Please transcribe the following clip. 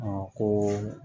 ko